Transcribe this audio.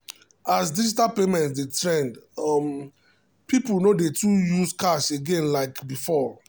as digital payment dey trend um people no too dey use cash again like um before.